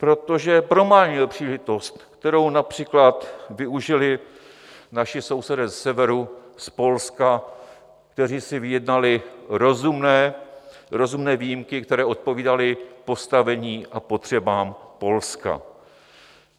Protože promarnil příležitost, kterou například využili naši sousedé ze severu, z Polska, kteří si vyjednali rozumné výjimky, které odpovídaly postavení a potřebám Polska.